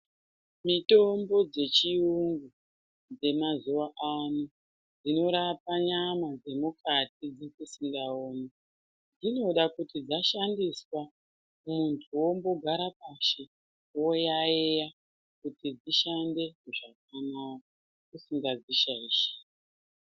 Mitombo dzechiyungu dzemazuwa ano dzinorapa nyama dzemukati dzatisingaoni. Dzinoda kuti dzashandiswa muntu wombogara pashi, woyaiya kuti dzishande zvakanaka usingadzishaishiri.